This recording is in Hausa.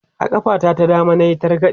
a ƙafa ta ta dama nayi targade